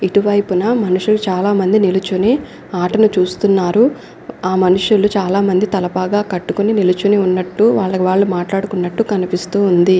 ఇటువైపున మనుషులు చాలా మంది నిల్చొని ఆటని చూస్తున్నారు ఆ మనుషులు చాలా మంది తలపాగా కట్టుకొని నిల్చొని ఉన్నట్టు వాళ్ళకి వాళ్ళు మాట్లాడుకున్నట్టు కనిపిస్తూ ఉంది.